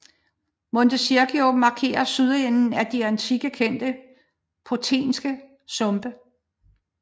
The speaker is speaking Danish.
Monte Circeo markerer sydenden af de i antikken kendte Pontinske Sumpe